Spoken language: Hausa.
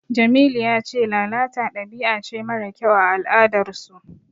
Jamilu ya ce lalata dabi'a ce mara kyau a al'adarsu.